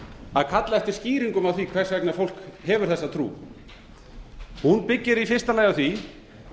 að kalla eftir skýringum á því hvers vegna fólk hefur þessa trú hún byggir í fyrsta lagi á því